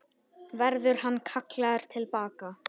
Verður hann kallaður til baka?